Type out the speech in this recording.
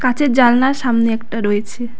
কাঁচের জালনার সামনে একটা রয়েছে।